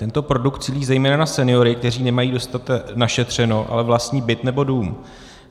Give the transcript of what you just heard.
Tento produkt cílí zejména na seniory, kteří nemají dost našetřeno, ale vlastní byt nebo dům.